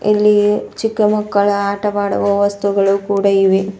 ಇಲ್ಲಿ ಚಿಕ್ಕ ಮಕ್ಕಳ ಆಟ ಆಡುವ ವಸ್ತುಗಳು ಕೂಡ ಇವೆ.